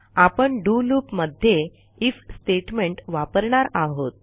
आपण do loop मध्ये if statement वापरणार आहोत